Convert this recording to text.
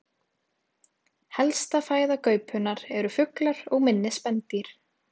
Helsta fæða gaupunnar eru fuglar og minni spendýr.